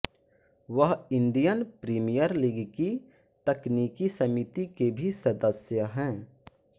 वह Indian Premier League की तकनीकी समिति के भी सदस्य हैं